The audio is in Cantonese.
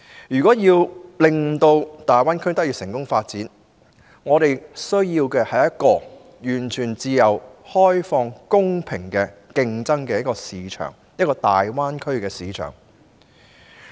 如要令香港在大灣區成功發展，便需要有一個完全自由開放、公平競爭的大灣區市場。